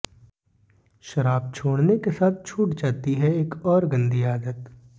शराब छोड़ने के साथ छूट जाती है एक और गन्दी आदत